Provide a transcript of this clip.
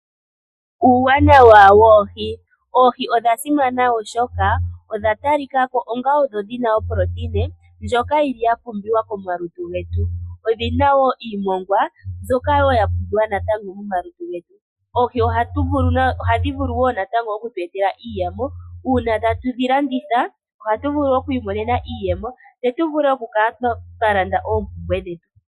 Uuwanawa woohi, oohi odha simana oshoka, odha talikako onga odho dhina oproteina ndjoka yili ya pumbiwa komalutu getu. Odhina woo iimongwa mbyoka woo natango ya pumbiwa mo malutu getu. Oohi ohadhi vulu woo natango okutu etela iiyemo uuna tatu dhi landitha ohatu vulu oku imonena iiyemo, tse tu vule oku kala twa landa oompumbwe dhetu.